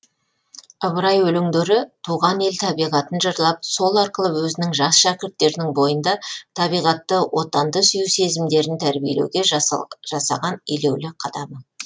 ыбырай өлеңдері туған ел табиғатын жырлап сол арқылы өзінің жас шәкірттерінің бойында табиғатты отанды сүю сезімдерін тәрбиелеуге жасаған елеулі қадамы